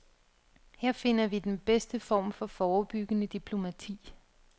Her finder vi den bedste form for forebyggende diplomati.